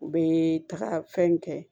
U bɛ taga fɛn in kɛ